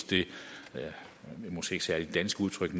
måske ikke særlig dansk udtryk